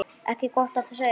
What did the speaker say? Ekki gott að segja.